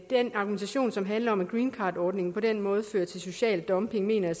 den argumentation som handler om at greencardordningen på den måde fører til social dumping mener jeg